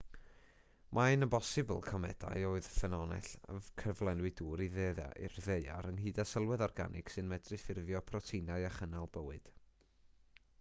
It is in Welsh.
mae'n bosibl comedau oedd ffynhonnell cyflenwi dŵr i'r ddaear ynghyd â sylwedd organig sy'n medru ffurfio proteinau a chynnal bywyd